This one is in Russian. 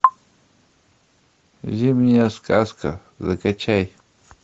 зимняя сказка закачай